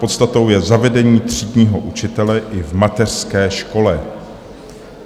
Podstatou je zavedení třídního učitele i v mateřské škole.